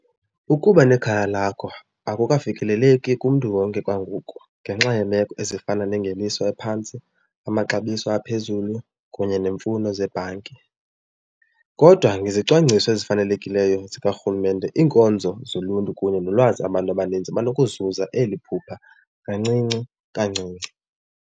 Ukuba nekhaya lakho akukafikeleleki kumntu wonke kwangoku ngenxa yeemeko ezifana nengeniso ephantsi, amaxabiso aphezulu kunye nemfuno zebhanki. Kodwa ngezicwangciso ezifanelekileyo zikaRhulumente iinkonzo zoluntu kunye nolwazi abantu abaninzi banokuzuza eli phupha kancinci kancinci.